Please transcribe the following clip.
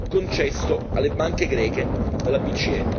concesso alle banche greche dalla BCE.